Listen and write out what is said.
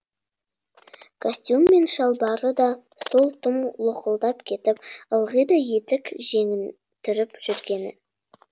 костюм мен шалбары да сол тым лоқылдап кетіп ылғи да етек жеңін түріп жүргені